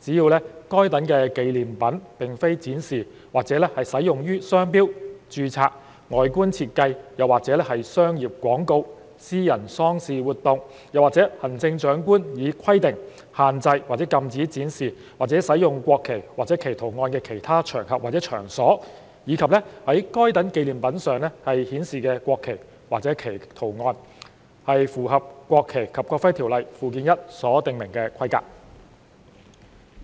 只要該等紀念品並非展示或使用於商標、註冊外觀設計或商業廣告、私人喪事活動，或行政長官以規定限制或禁止展示或使用國旗或其圖案的其他場合或場所，以及在該等紀念品上顯示的國旗或其圖案，是符合《國旗及國徽條例》附表1所訂明的規格。